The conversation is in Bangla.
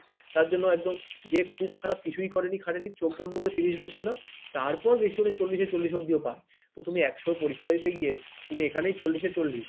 তার জন্য একদম যে খুব খারাপ কিছুই করেনি খাটেনি চোখ বন্ধ করে ত্রিশ বসিয়ে দাও তারপর বেশি হলে চল্লিশে চল্লিশ অব্দিও পাই তুমি একশো পরীক্ষা দিতে গিয়ে তুমি এখানেই চল্লিশে চল্লিশ,